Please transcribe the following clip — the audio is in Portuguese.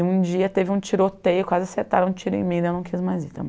Um dia teve um tiroteio, quase acertaram o tiro em mim, daí eu não quis mais ir também.